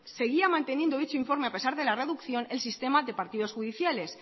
seguía manteniendo dicho informe a pesar de la reducción el sistema de partidos judiciales